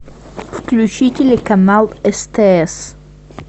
включи телеканал стс